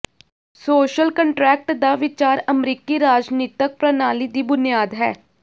social contract ਦਾ ਵਿਚਾਰ ਅਮਰੀਕੀ ਰਾਜਨੀਤਕ ਪ੍ਰਣਾਲੀ ਦੀ ਬੁਨਿਆਦ ਹੈ